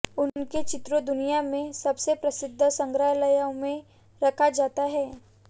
उनके चित्रों दुनिया में सबसे प्रसिद्ध संग्रहालयों में रखा जाता है